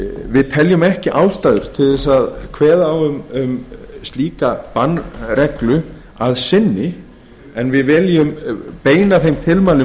við teljum ekki ástæðu til þess að kveða á um slíka bannreglu að sinni en viljum beina þeim tilmælum